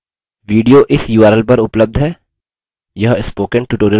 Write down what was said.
video इस url पर उपलब्ध है